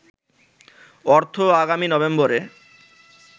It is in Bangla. অর্থ আগামী নভেম্বরে